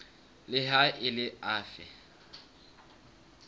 le ha e le afe